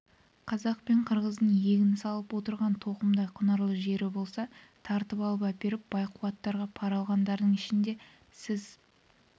қазақ пен қырғыздың егін салып отырған тоқымдай құнарлы жері болса тартып әперіп бай-кулактардан пара алғандардың ішінде сіз